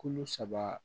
Kolo saba